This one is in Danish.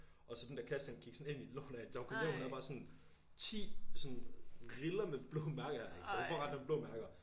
Og så den der kasse den sådan ind i låret af hende da hun kom hjem hun havde bare sådan 10 riller med blå mærker i så hun får ret nemt blå mærker